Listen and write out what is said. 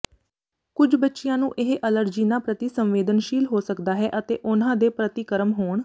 ਕੁਝ ਬੱਚਿਆਂ ਨੂੰ ਇਹ ਅਲਰਜੀਨਾਂ ਪ੍ਰਤੀ ਸੰਵੇਦਨਸ਼ੀਲ ਹੋ ਸਕਦਾ ਹੈ ਅਤੇ ਉਹਨਾਂ ਦੇ ਪ੍ਰਤੀਕਰਮ ਹੋਣ